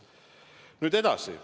Nüüd edasi.